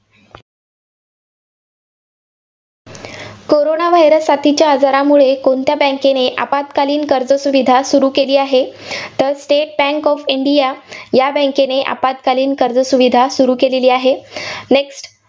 Corona virus साथीच्या आजारामुळे कोणत्या bank ने आपत्कालीन कर्जसुविधा सुरू केली आहे? तर स्टेट बँक ऑफ इंडिया या bank ने आपत्कालीन कर्जसुविधा सुरू केलेली आहे. Next